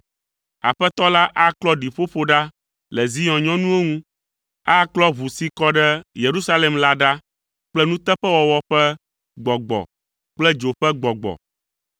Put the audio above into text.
Aƒetɔ la aklɔ ɖiƒoƒo ɖa le Zion nyɔnuwo ŋu. Aklɔ ʋu si kɔ ɖe Yerusalem la ɖa kple nuteƒewɔwɔ ƒe gbɔgbɔ kple dzo ƒe gbɔgbɔ.